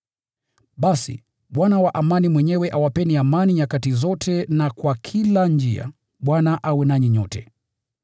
Basi, Bwana wa amani mwenyewe awapeni amani nyakati zote na kwa kila njia. Bwana awe nanyi nyote.